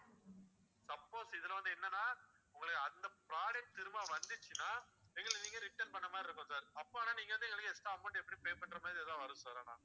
suppose இதுல வந்து என்னன்னா உங்களுக்கு அந்த product திரும்ப வந்திச்சுன்னா எங்களுக்கு நீங்க return பண்ண மாதிரி இருக்கும் sir அப்ப ஆனா நீங்க வந்து எங்களுக்கு extra amount எப்படியும் pay பண்ற மாதிரி ஏதாவது வரும் sir ஆனா